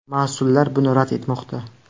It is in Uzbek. Mas’ullar buni rad etmoqda.